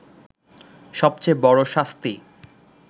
সবচেয়ে বড় শাস্তি